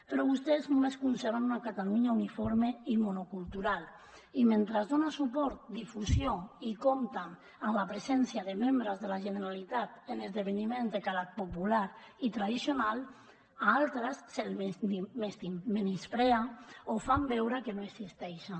però vostès només conceben una catalunya uniforme i monocultural i mentre es dona suport difusió i compta amb la presència de membres de la generalitat en esdeveniments de calat popular i tradicional a altres se’ls menysprea o fan veure que no existeixen